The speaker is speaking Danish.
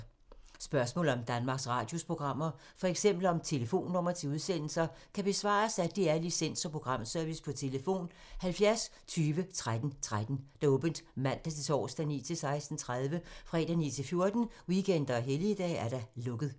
Spørgsmål om Danmarks Radios programmer, f.eks. om telefonnumre til udsendelser, kan besvares af DR Licens- og Programservice: tlf. 70 20 13 13, åbent mandag-torsdag 9.00-16.30, fredag 9.00-14.00, weekender og helligdage: lukket.